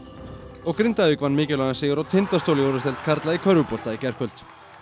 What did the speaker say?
og Grindavík vann mikilvægan sigur á Tindastóli í úrvalsdeild karla í körfubolta í gærkvöld